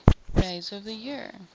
days of the year